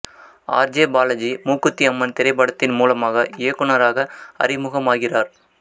R J Balaji Mookuthi Amman திரைப்படத்தின் மூலமாக இயக்குநராக அறிமுகமாகிறார்